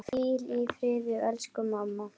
Hvíl í friði elsku mamma.